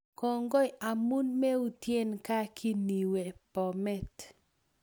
Kongoi amun meutient gaa kiniwe Bomet